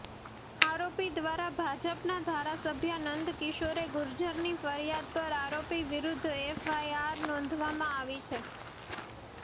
આરોપી દ્વારા ભાજપના ધારાસભ્ય નંદકિશોર ગુર્જરની ફરિયાદ પર આરોપી વિરુદ્ધ એફઆઈઆર નોંધાવામાં આવી છે